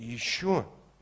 ещё